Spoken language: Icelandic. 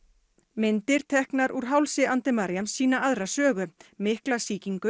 myndir teknar úr hálsi Andemariam sýna aðra sögu mikla sýkingu